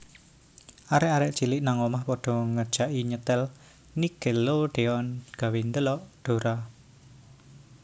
Arek arek cilik nang omah podo ngejaki nyetel Nickelodeon gawe ndelok Dora